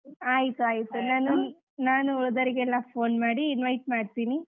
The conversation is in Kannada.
ಆಯಿತು ಆಯಿತು ನಾನು ಉಳದವ್ರಿಗೆಲ್ಲಾ phone ಮಾಡಿ invite ಮಾಡ್ತೀನಿ.